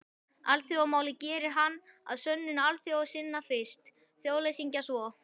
Alþjóðamálið gerir hann að sönnum alþjóðasinna fyrst, þjóðleysingja svo.